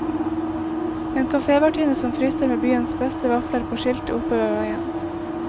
En kafévertinne som frister med byens beste vafler på skiltet oppe ved veien.